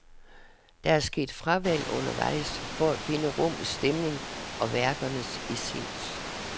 Der er sket fravalg undervejs for at finde rummets stemning og værkernes essens.